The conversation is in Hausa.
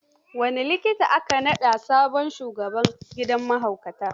Wani likita aka naɗa sabon shugaban gidan mahaukatan.